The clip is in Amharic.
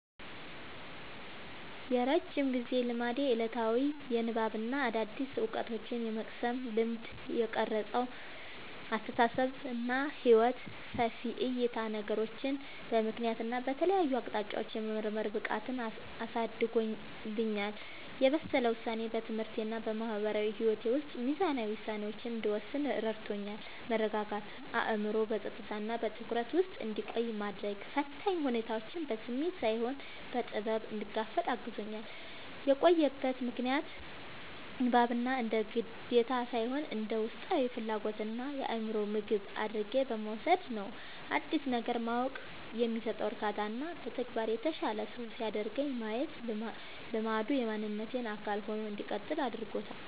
የረጅም ጊዜ ልማዴ፦ ዕለታዊ የንባብና አዳዲስ ዕውቀቶችን የመቅሰም ልማድ። የቀረጸው አስተሳሰብና ሕይወት፦ ሰፊ ዕይታ፦ ነገሮችን በምክንያትና በተለያዩ አቅጣጫዎች የመመርመር ብቃትን አሳድጎልኛል። የበሰለ ውሳኔ፦ በትምህርቴና በማህበራዊ ሕይወቴ ውስጥ ሚዛናዊ ውሳኔዎችን እንድወስን ረድቶኛል። መረጋጋት፦ አእምሮዬ በጸጥታና በትኩረት ውስጥ እንዲቆይ በማድረግ፣ ፈታኝ ሁኔታዎችን በስሜት ሳይሆን በጥበብ እንድጋፈጥ አግዞኛል። የቆየበት ምክንያት፦ ንባብን እንደ ግዴታ ሳይሆን እንደ ውስጣዊ ፍላጎትና የአእምሮ ምግብ አድርጌ በመውሰዴ ነው። አዲስ ነገር ማወቅ የሚሰጠው እርካታና በተግባር የተሻለ ሰው ሲያደርገኝ ማየቴ ልማዱ የማንነቴ አካል ሆኖ እንዲቀጥል አድርጎታል።